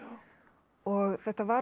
og þetta var